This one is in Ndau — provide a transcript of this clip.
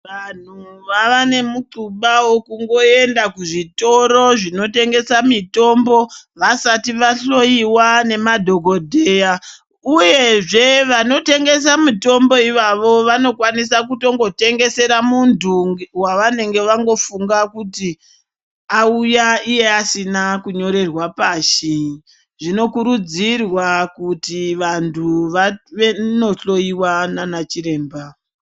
Vanhu vava nemukhuba wekungoenda kuzvitoro zvinotengesa mitombo vasati vahloyiwa nemadhokodheya uyezve vanootengesa mitombo ivavo vanokwanisa kutongotengesera muntu wavanenge vangofunga kuti auya iye asina kunyorerwa pasi. Zvinokurudzirwa kuti vantu vanohloyiwa nana chiremba